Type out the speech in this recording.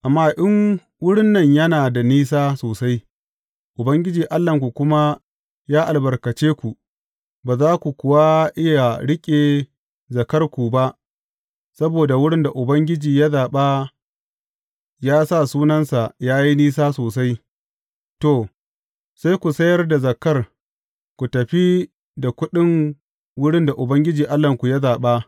Amma in wurin nan yana da nisa sosai, Ubangiji Allahnku kuma ya albarkace ku, ba za ku kuwa iya riƙe zakkarku ba Saboda wurin da Ubangiji ya zaɓa yă sa Sunansa ya yi nisa sosai, to, sai ku sayar da zakkar, ku tafi da kuɗin wurin da Ubangiji Allahnku ya zaɓa.